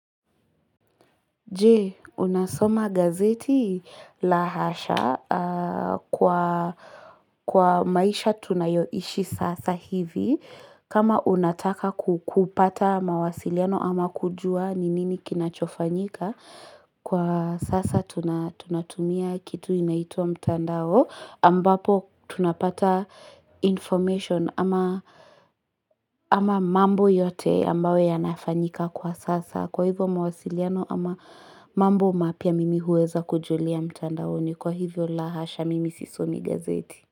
Je unasoma gazeti? La hasha kwa maisha tunayoishi sasa hivi kama unataka kupata mawasiliano ama kujua ni nini kinachofanyika kwa sasa tunatumia kitu inaitwa mtandao ambapo tunapata information ama ama mambo yote ambayo yanafanyika kwa sasa. Kwa hivyo mawasiliano ama mambo mapya mimi huweza kujulia mtandaoni. Kwa hivyo la hasha mimi sisomi gazeti.